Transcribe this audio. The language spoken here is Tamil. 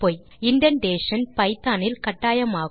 இண்டென்டேஷன் பைத்தோன் இல் கட்டாயமாகும்